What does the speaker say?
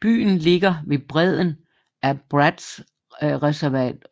Byen ligger ved bredden af Bratskreservoiret